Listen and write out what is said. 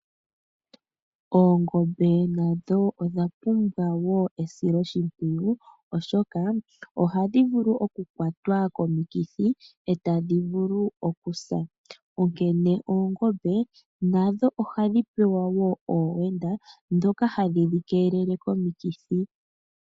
Oongombe nadho odha pumbwa wo esiloshimpwiyu, oshoka ohadhi vulu okukwatwa komikithi tadhi vulu okusa, onkene oongombe nadho ohadhi wendwa wo oowenda ndhoka hadhi dhi keelele komikithi.